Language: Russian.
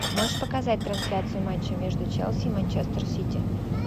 можешь показать трансляцию матча между челси и манчестер сити